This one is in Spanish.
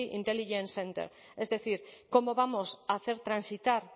intelligence center es decir cómo vamos a hacer transitar